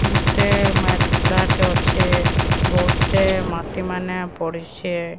ଗୋଟେ ମାଟକୁଡାଟେ ଅଛେ ବହହୁ ଟେ ମାଟିମାନେ ପଡ଼ିଚେ।